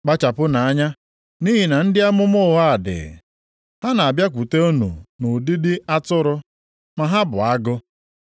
“Kpachapụnụ anya! Nʼihi na ndị amụma ụgha dị. Ha na-abịakwute unu nʼụdịdị atụrụ, ma ha bụ agụ.